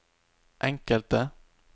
enkelte